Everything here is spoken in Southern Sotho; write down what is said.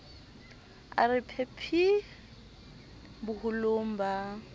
a re phephisa boholong ba